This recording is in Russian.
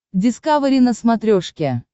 дискавери на смотрешке